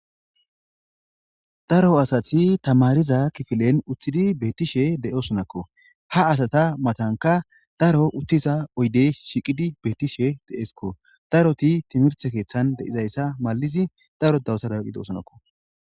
Daro asat tamarza kifilen utid betosonako. Ha asata matantaka daro utiza oydey shiqid de'esko . timrte kethan de'zaysa maliz daro dawutosona gidosonako